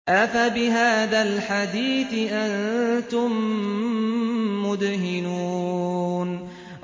أَفَبِهَٰذَا الْحَدِيثِ أَنتُم مُّدْهِنُونَ